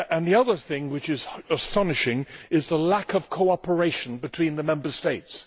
Another thing which is astonishing is the lack of cooperation between the Member States.